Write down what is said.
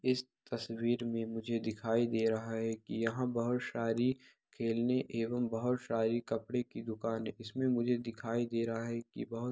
इस तस्वीर में मुझे दिखाई दे रहा है की यहाँ बहोत सारी खेलने एवं बहोत सारी कपड़े की दुकान हैं इसमें मुझे दिखाई दे रहा है कि बहोत ----